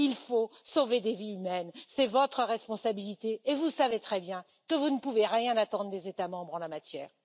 Il faut sauver des vies humaines, c'est votre responsabilité et vous savez très bien que vous ne pouvez rien attendre des États membres en la matière.